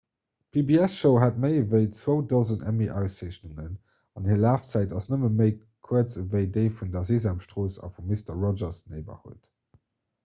d'pbs-show hat méi ewéi zwou dosen emmy-auszeechnungen an hir lafzäit ass nëmme méi kuerz ewéi déi vun der sesamstrooss a vu mister rogers' neighborhood